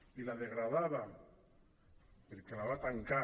i la degradava perquè la va tancar